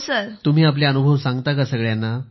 तुम्ही आपले अनुभव सांगता का सगळ्यांना